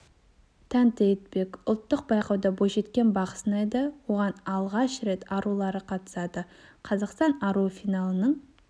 тәнті етпек ұлттық байқауда бойжеткен бақ сынайды оған алғаш рет арулары қатысады қазақстан аруы финалының